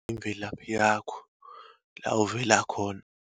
Imvelaphi yakho, la uvela khona.